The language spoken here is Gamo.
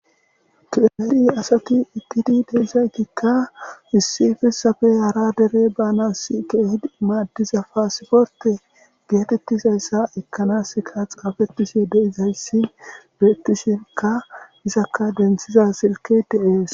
Tu emedi asati ittidi deizaykikka issifesafe hara dere banas keehid maaddiza paasiforte geetettizayssa ekkanaska xaafettishe deizayssi beettishinka izakka denthiza silke dees.